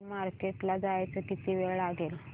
इथून मार्केट ला जायला किती वेळ लागेल